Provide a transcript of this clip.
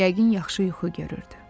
Yəqin yaxşı yuxu görürdü.